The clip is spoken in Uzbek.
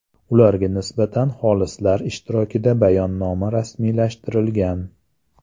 Ularga nisbatan xolislar ishtirokida bayonnoma rasmiylashtirilgan.